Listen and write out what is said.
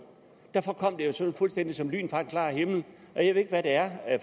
derfor kom det jo sådan fuldstændig som et lyn fra en klar himmel jeg ved ikke hvad det er